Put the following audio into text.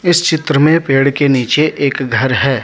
इस चित्र में पेड़ के नीचे एक घर है।